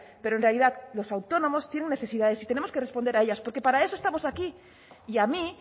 pero en realidad los autónomos tienen necesidades y tenemos que responder a ellas porque para eso estamos aquí y a mí